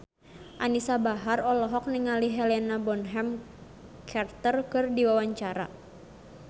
Anisa Bahar olohok ningali Helena Bonham Carter keur diwawancara